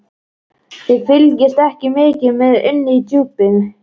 Þið fylgist ekki mikið með inni í Djúpi.